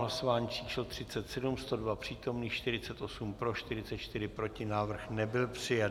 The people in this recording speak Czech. Hlasování číslo 37, 102 přítomných, 48 pro, 44 proti, návrh nebyl přijat.